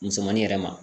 Musomani yɛrɛ ma